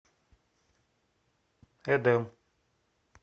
эдем